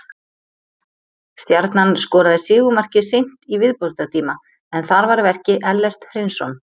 Stjarnan skoraði sigurmarkið seint í viðbótartíma en þar var að verki Ellert Hreinsson.